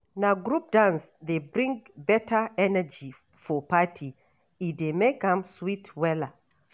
Na group dance dey bring beta energy for party, e dey make am sweet wella.